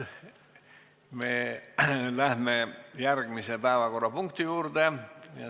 Me läheme järgmise päevakorrapunkti juurde.